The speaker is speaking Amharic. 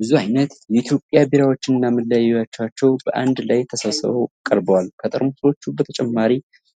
ብዙ አይነት የኢትዮጵያ ቢራዎችና መለያዎቻቸው በአንድ ላይ ተሰብስበው ቀርበዋል። ከጠርሙሶች በተጨማሪ፣